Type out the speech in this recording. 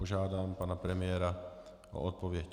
Požádám pana premiéra o odpověď.